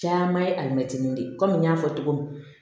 Caman ye alimɛtinin de ye komi n y'a fɔ cogo min